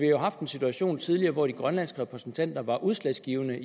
jo haft en situation tidligere hvor de grønlandske repræsentanter var udslagsgivende